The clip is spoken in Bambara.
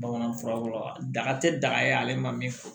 Bamanan fura kɔrɔ da a tɛ daga ye ale ma min fɔ